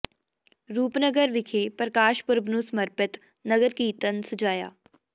ਰੂਪਨਗਰ ਵਿਖੇ ਪ੍ਰਕਾਸ਼ ਪੁਰਬ ਨੂੰ ਸਮਰਪਿਤ ਨਗਰ ਕੀਰਤਨ ਸਜਾਇਆ